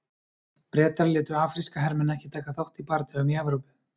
Bretar létu afríska hermenn ekki taka þátt í bardögum í Evrópu.